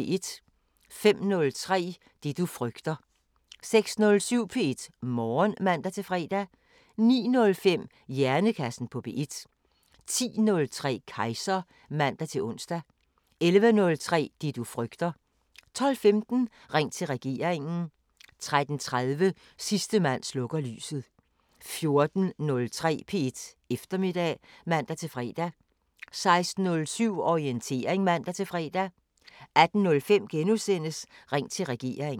05:03: Det du frygter 06:07: P1 Morgen (man-fre) 09:05: Hjernekassen på P1 10:03: Kejser (man-ons) 11:03: Det du frygter 12:15: Ring til regeringen 13:30: Sidste mand slukker lyset 14:03: P1 Eftermiddag (man-fre) 16:07: Orientering (man-fre) 18:05: Ring til regeringen *